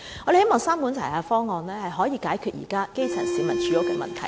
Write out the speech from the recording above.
我們希望三管齊下的方案可以解決現時基層市民的住屋問題。